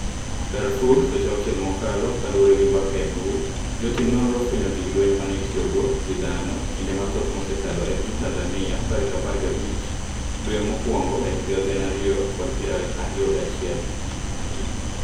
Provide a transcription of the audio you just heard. Darfur Seche auchiel mokalo kaluore gi mbaka e mbui. Jotim nonro ofwenyo gig lweny mane itiyogo gi dhano kinde mathoth msekalo e piny Tanzania tarik apar gabich dwe mokwongo ehiga gana ariyo kod piero ariyo gachiel.